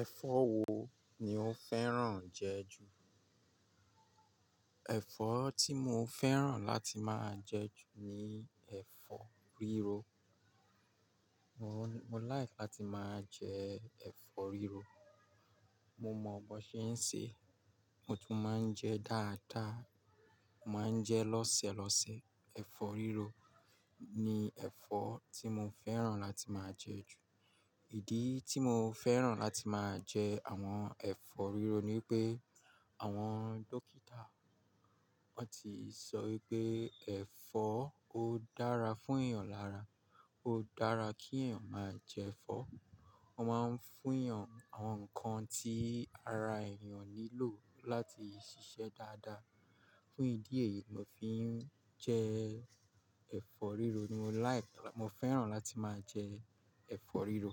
Ẹ̀fọ́ wo ni o fẹ́ràn jẹ ju? Ẹ̀fọ́ tí mo fẹ́ràn láti máa jẹ ju ni ẹ̀fọ́ rírò. Mo like láti máa jẹ ẹ̀fọ́ rírò. Mo mọ̀ bó ṣe ń sè, mo tún máa ń jẹ dáadáa, màá ń jẹ lọ́sẹ̀ lọ́sẹ̀. Ẹ̀fọ́ rírò ni ẹ̀fọ́ tí mo fẹ́ràn láti máa jẹ ju. Ìdí tí mo fẹ́ràn láti máa jẹ àwọn ẹ̀fọ́ rírò ni pé àwọn dókítà wọ́n ti sọ wípé ẹ̀fọ́ ó dára fún èèyàn lára, ó dára kí èèyàn máa jẹ ẹ̀fọ́. Wọ́n máa ń fún èèyàn àwọn nǹkan tí ara èèyàn nílò láti ṣiṣẹ́ dáadáa. Fún ìdí èyí mo fi ń jẹ ẹ̀fọ́ rírò. Ni mo like, mo fẹ́ràn láti máa jẹ ẹ̀fọ́ rírò.